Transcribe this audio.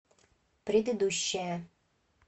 предыдущая